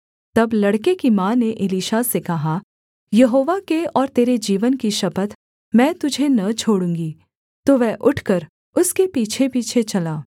तब लड़के की माँ ने एलीशा से कहा यहोवा के और तेरे जीवन की शपथ मैं तुझे न छोड़ूँगी तो वह उठकर उसके पीछेपीछे चला